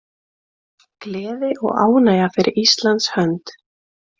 Gleði og ánægja fyrir Íslands hönd